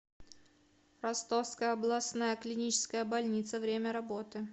ростовская областная клиническая больница время работы